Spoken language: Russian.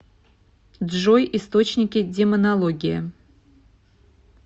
джой источники демонология